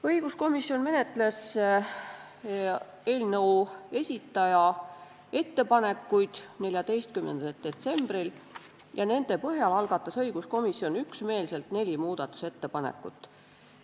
Õiguskomisjon menetles eelnõu esitaja ettepanekuid 14. detsembril ja nende põhjal algatas õiguskomisjon üksmeelselt neli muudatusettepanekut.